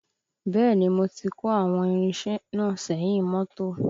Bẹ́ẹ̀ni mo ti kó àwọn irinṣẹ́ náà sẹ́yìn mọ́tò